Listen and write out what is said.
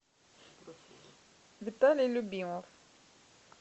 виталий любимов